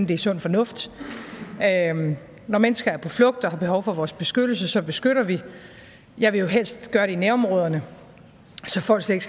det er sund fornuft når mennesker er på flugt og har behov for vores beskyttelse beskytter vi jeg vil jo helst gøre det i nærområderne så folk slet